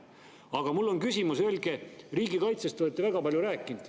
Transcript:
Aga mul on küsimus, riigikaitsest te olete väga palju rääkinud.